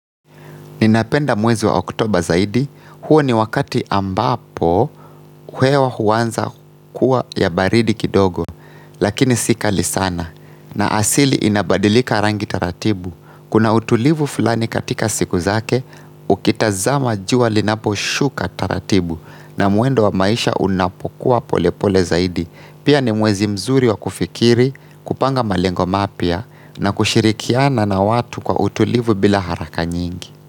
Ninapenda mwezi wa oktoba zaidi, huo ni wakati ambapo hewa huanza kuwa ya baridi kidogo, lakini si kali sana. Na asili inabadilika rangi taratibu. Kuna utulivu fulani katika siku zake, ukitazama jua linaposhuka taratibu na mwendo wa maisha unapokuwa polepole zaidi. Pia ni mwezi mzuri wa kufikiri, kupanga malengo mapya na kushirikiana na watu kwa utulivu bila haraka nyingi.